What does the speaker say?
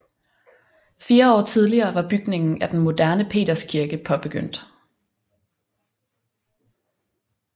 Fire år tidligere var bygningen af den moderne Peterskirke påbegyndt